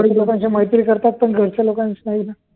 काही लोकांशी मैत्री करतात पण घरच्यांशी नाही